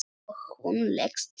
Og hún leggst niður.